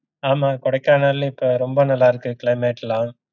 ஆமாம் கொடைக்கானல்ல இப்போ ரொம்ப நல்லா இருக்கு climate லாம்